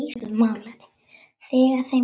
Þegar þeim hentar.